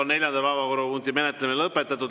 Neljanda päevakorrapunkti menetlemine on lõpetatud.